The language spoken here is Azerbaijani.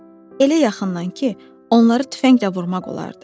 Elə yaxından ki, onları tüfənglə vurmaq olardı.